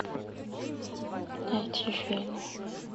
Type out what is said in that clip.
найти фильм